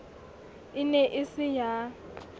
e ne e se ya